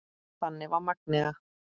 Þannig var Magnea.